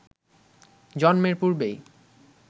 জন্মের পূর্বেই